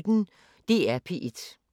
DR P1